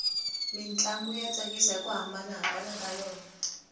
mintlangu ya tsakisa hiku hambana ka yona